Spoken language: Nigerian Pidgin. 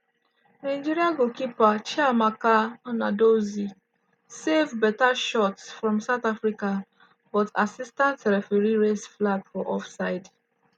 nigeria goalkeeper chiamaka nnadozie save beta shot from south africa but assistant referee raise flag for offside.